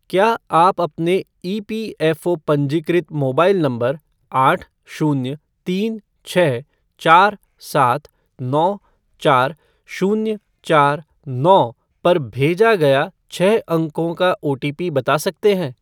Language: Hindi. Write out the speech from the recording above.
क्या आप अपने ईपीएफ़ओ पंजीकृत मोबाइल नंबर आठ शून्य तीन छः चार सात नौ चार शून्य चार नौ पर भेजा गया छह अंकों का ओटीपी बता सकते हैं ?